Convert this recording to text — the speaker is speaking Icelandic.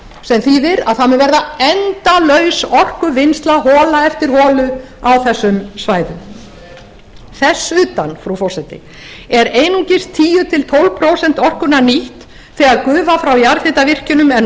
sem þýðir að það mun verða endalaus orkuvinnsla hola eftir holu á þessum svæðum þess utan frú forseti eru einungis tíu til tólf prósent orkunnar nýtt þegar gufa frá jarðhitavirkjunum er